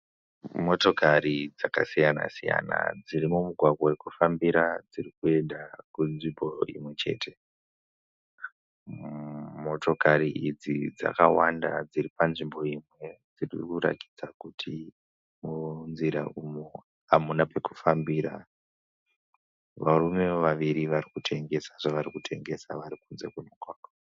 Motokari dzakasiyana-siyana dzirimumugwagwa wekufambira dzirikuenda kunzvimbo imwechete. Motokari idzi dzakawanda dziri panzvimbo imwe. dzirikurakidza kuti munzira umu hamuna pekufambira. Varumewo vaviri varikutengesa zvavarikutengesa varikunze kwemugwagwa